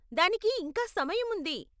దానికి ఇంకా సమయం ఉంది.